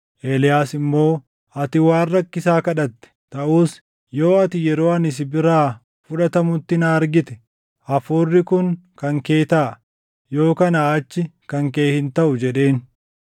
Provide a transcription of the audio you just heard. Eeliyaas immoo, “Ati waan rakkisaa kadhatte; taʼus yoo ati yeroo ani si biraa fudhatamutti na argite, hafuurri kun kan kee taʼa; yoo kanaa achi kan kee hin taʼu” jedheen.